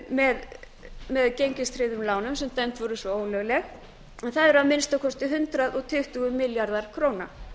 með gengistryggðum lánum sem dæmd voru svo ólög en það eru að minnsta kosti hundrað tuttugu milljarðar króna